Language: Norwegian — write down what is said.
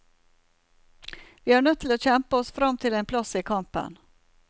Vi er nødt til å kjempe oss fram til en plass i kampen.